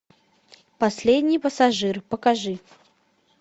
последний пассажир покажи